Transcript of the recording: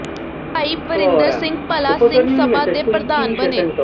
ਭਾਈ ਵਰਿੰਦਰ ਸਿੰਘ ਬੱਲਾ ਸਿੰਘ ਸਭਾ ਦੇ ਪ੍ਰਧਾਨ ਬਣੇ